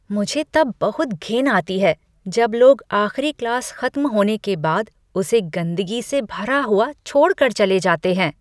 मुझे तब बहुत घिन आती है जब लोग आख़िरी क्लास खत्म होने के बाद उसे गंदगी से भरा हुआ छोड़ कर चले जाते हैं।